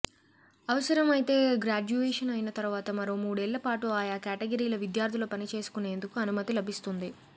అవసరమైతే గ్రాడ్యుయేషన్ అయిన తర్వాత మరో మూడేళ్లపాటు ఆయా కేటగిరీల విద్యార్థులు పనిచేసుకునేందుకు అనుమతి లభిస్తుంది